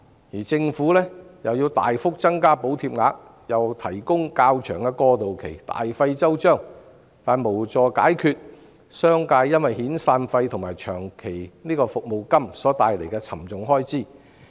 而政府也要大幅增加補貼額，並提供較長的過渡期，大費周章，但卻無助商界解決因遣散費及長期服務金所帶來的沉重開支。